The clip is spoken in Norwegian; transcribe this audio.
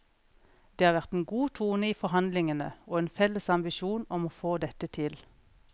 Det har vært en god tone i forhandlingene, og en felles ambisjon om å få dette til.